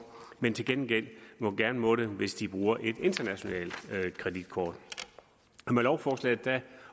men til gengæld gerne må det hvis de bruger et internationalt kreditkort med lovforslaget